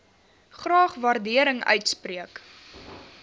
graag waardering uitspreek